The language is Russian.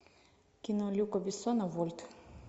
кино люка бессона вольт